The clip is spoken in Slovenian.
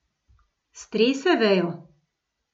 Strese vejo.